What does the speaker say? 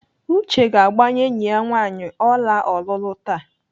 Uche ga-agbanye enyi ya nwaanyị ọla ọlụlụ taa.